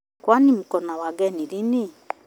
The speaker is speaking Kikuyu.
Kwani mko na wageni lini?